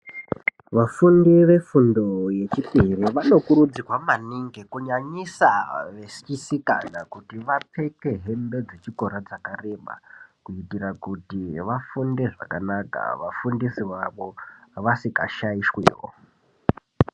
Vafundi vefundo yechipiri vanokurudzirwa maningi kunyanyisa vechisikana kuti vapfeke hembe dzechikora dzakareba kuitira kuti vafunde zvakanaka vafundisi vavo vasikashaishwiwo.